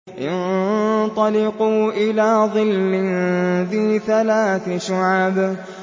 انطَلِقُوا إِلَىٰ ظِلٍّ ذِي ثَلَاثِ شُعَبٍ